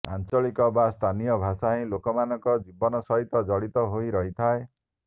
ଆଞ୍ଚଳିକ ବା ସ୍ଥାନୀୟ ଭାଷା ହିଁ ଲୋକମାନଙ୍କ ଜୀବନ ସହିତ ଜଡ଼ିତ ହୋଇ ରହିଥାଏ